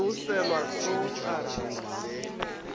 yo selwa hlong a re